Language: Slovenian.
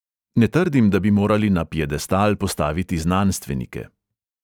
Ne trdim, da bi morali na piedestal postaviti znanstvenike.